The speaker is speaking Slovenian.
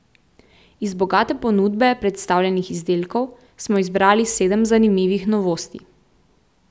Iz bogate ponudbe predstavljenih izdelkov smo izbrali sedem zanimivih novosti.